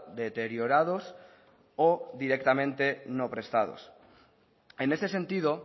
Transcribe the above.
deteriorados o directamente no prestados en ese sentido